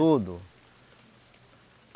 Tudo.